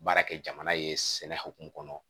Baara kɛ jamana ye sɛnɛ hokumu kɔnɔ